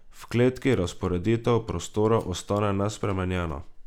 V kleti razporeditev prostorov ostane nespremenjena.